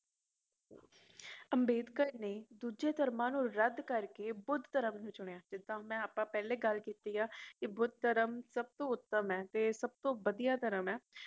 ਅੰਬੇਡਕਰ ਨੇ ਦੂਜੇ ਧਰਮਾਂ ਨੂੰ ਰਦ ਕਰਕੇ ਬੁੱਧ ਧਰਮ ਨੂੰ ਚੁਣਿਆ ਜਿੱਦਾ ਅਪਾ ਪਹਿਲਾ ਗੱਲ ਕੀਤੀ ਆ ਕਿ ਬੁੱਧ ਧਰਮ ਸਬਤੋਂ ਉੱਤਮ ਏ ਤੇ ਸਬਤੋਂ ਵਦੀਆ ਧਰਮ ਏ